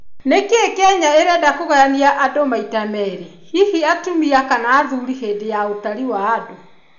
Nĩkĩ Kenya ĩrenda kũgayania andũ maita merĩ hihi atumia kana athuri hĩndĩ ya ũtari wa andũ.